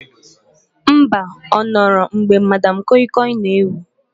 Mba, ọ nọrọ mgbe Madam kọi kọi na ewu